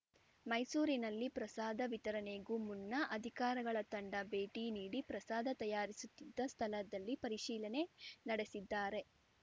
ಮೈಸೂರಿನಲ್ಲಿ ಪ್ರಸಾದ ವಿತರಣೆಗೂ ಮುನ್ನ ಅಧಿಕಾರಗಳ ತಂಡ ಭೇಟಿ ನೀಡಿ ಪ್ರಸಾದ ತಯಾರಿಸುತ್ತಿದ್ದ ಸ್ಥಳದಲ್ಲಿ ಪರಿಶೀಲನೆ ನಡೆಸಿದ್ದಾರೆ